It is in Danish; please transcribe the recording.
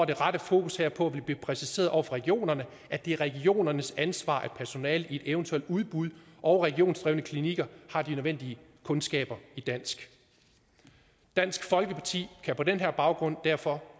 det rette fokus herpå vil det blive præciseret over for regionerne at det er regionernes ansvar at personalet i evt udbuds og regionsdrevne klinikker har de nødvendige kundskaber i dansk dansk folkeparti kan på den baggrund derfor